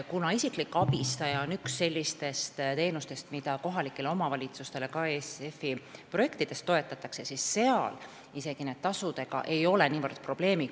Kuna isikliku abistaja palkamine on üks sellistest teenustest, mida ka ESF-i projektidest toetatakse, siis nende tasudega isegi ei ole kohalikes omavalitsustes niivõrd suurt probleemi.